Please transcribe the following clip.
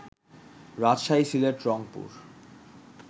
Rajshahi, Sylhet, Rangpur